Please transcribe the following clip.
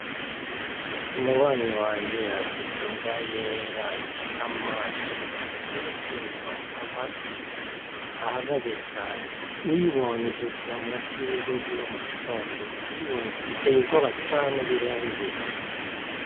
Umubanyi wanje afise imbwa yera ifise amaso ateye ubwoba amatwi ahagaze cane, uyibonye ivyukira musi y'urugo rwiwe mugitondo, uyibonye iteye ubwoba cane birenze.